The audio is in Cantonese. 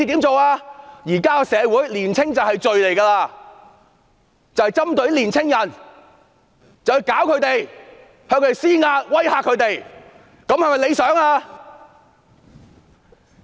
在現今社會，年青便是罪，他們針對年青人，向他們施壓、施以威嚇，這樣做是否理想呢？